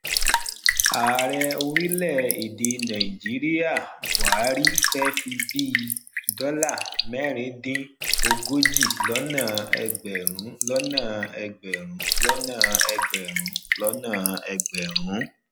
ààrẹ orile ede nàìjíríà buhari fe fi bí dola mẹrin din ogójì lọnà egberun lọnà egberun lọnà egberun lọnà egberun